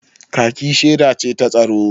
kaki sheda ce ta tsaro